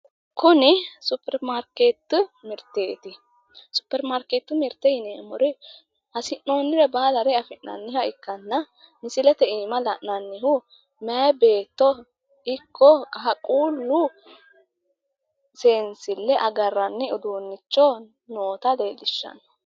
Kuni suppermaarkeetete mirteteti suppermaarkeetete mirte yineemmori hasi'noonnire baalare afi'nanniha ikkanna misileete iima la'nannihu meyaa beetto ikko qaaqqullu seensille agarranni uduunnicho noota leellishshanno.